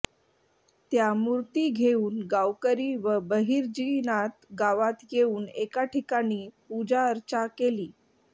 त्या मूर्ती घेवून गावकरी व बहिर्जीनाथ गावात येवून एका ठिकाणी पूजाअर्चा केली